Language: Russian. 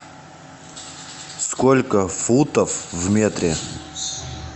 сколько футов в метре